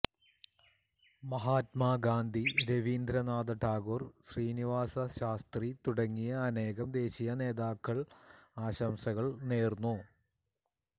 മഹാത്മാഗാന്ധി രവീന്ദ്രനാഥ ടാഗോർ ശ്രീനിവാസശാസ്ത്രി തുടങ്ങിയ അനേകം ദേശീയ നേതാക്കൾ ആശംസകൾ നേർന്നു